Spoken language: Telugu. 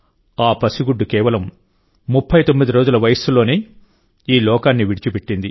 ఆ పసిగుడ్డు కేవలం ముప్పై తొమ్మిది రోజుల వయస్సులోనే ఈ లోకాన్ని విడిచిపెట్టింది